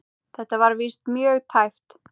Þetta var víst mjög tæpt.